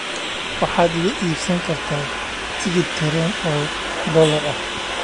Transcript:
waxaad iga iibsan kartaa tigidh tareen oo dollar ah